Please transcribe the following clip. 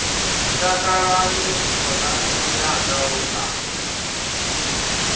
takalani khonani yanga we a